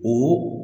Olu